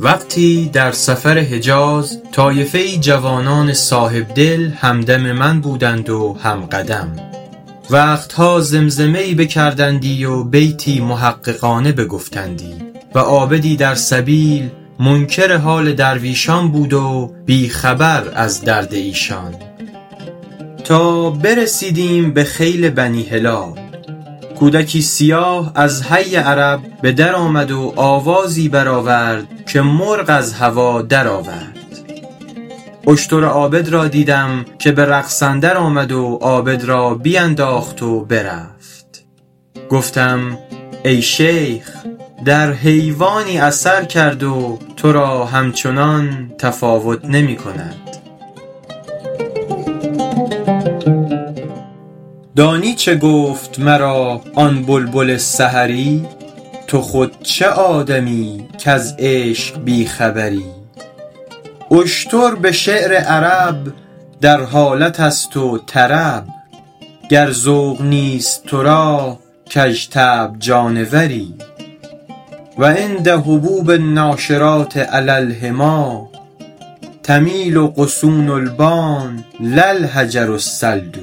وقتی در سفر حجاز طایفه ای جوانان صاحبدل هم دم من بودند و هم قدم وقت ها زمزمه ای بکردندی و بیتی محققانه بگفتندی و عابدی در سبیل منکر حال درویشان بود و بی خبر از درد ایشان تا برسیدیم به خیل بنی هلال کودکی سیاه از حی عرب به در آمد و آوازی بر آورد که مرغ از هوا در آورد اشتر عابد را دیدم که به رقص اندر آمد و عابد را بینداخت و برفت گفتم ای شیخ در حیوانی اثر کرد و تو را همچنان تفاوت نمی کند دانی چه گفت مرا آن بلبل سحری تو خود چه آدمیی کز عشق بی خبری اشتر به شعر عرب در حالت است و طرب گر ذوق نیست تو را کژطبع جانوری و عند هبوب الناشرات علی الحمیٰ تمیل غصون البان لا الحجر الصلد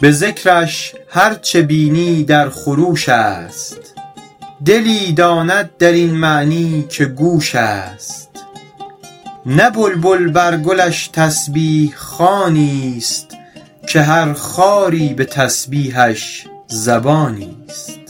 به ذکرش هر چه بینی در خروش است دلی داند در این معنی که گوش است نه بلبل بر گلش تسبیح خوانی است که هر خاری به تسبیحش زبانی است